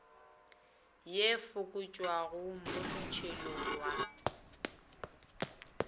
ye fokotšwago mo motšhelong wa